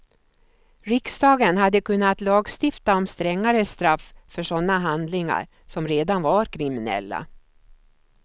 Riksdagen hade kunnat lagstifta om strängare straff för sådana handlingar, som redan var kriminella.